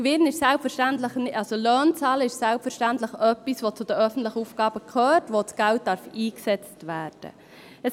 Den Lohn zu bezahlen ist selbstverständlich etwas, das zu den öffentlichen Aufgaben gehört und wofür das Geld eingesetzt werden darf.